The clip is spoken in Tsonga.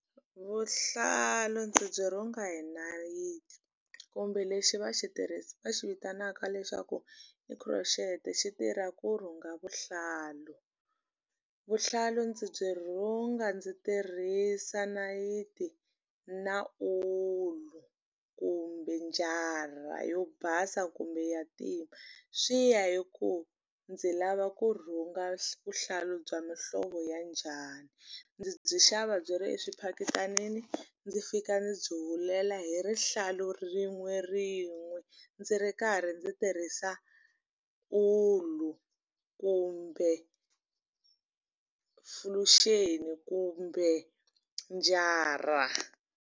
Vuhlalu ndzi byi rhunga hi nayiti kumbe lexi va xi va xi vitanaka lexaku i crotchet xi tirha ku rhunga vuhlalu vuhlalu ndzi byi rhunga ndzi tirhisa nayiti na ulu kumbe njara yo basa kumbe ya ntima swi ya hi ku ndzi lava ku rhunga vuhlalu bya muhlovo ya njhani ndzi byi xava byi ri eswiphaketanini ndzi fika ndzi byi hulela hi rihlalu rin'we rin'we ndzi ri karhi ndzi tirhisa ulu kumbe kumbe njara.